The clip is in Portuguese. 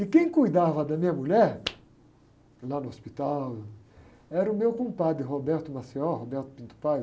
E quem cuidava da minha mulher lá no hospital era o meu compadre